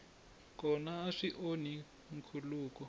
kona a swi onhi nkhuluko